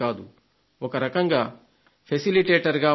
ఒక రకంగా ఫెసిలిటేటర్గా మారింది